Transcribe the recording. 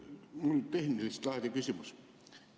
Mul on tehnilist laadi küsimus.